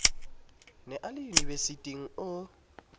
ne a le unibesiting o